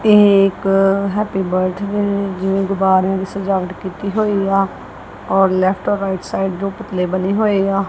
ਇਹ ਇੱਕ happy birthday ਜਿਵੇਂ ਗੁਬਾਰਿਆ ਦੀ ਸਜਾਵਟ ਕੀਤੀ ਹੋਈ ਆ ਔਰ ਲੈਫਟ ਔਰ ਰਾਈਟ ਸਾਈਡ ਦੋ ਪੁਤਲੇ ਬਣੇ ਹੋਏ ਆ।